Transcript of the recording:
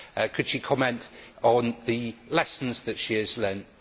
Could she comment on the lessons that she has learned?